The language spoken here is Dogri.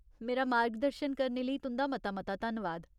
मेरा मार्गदर्शन करने लेई तुं'दा मता मता धन्नवाद।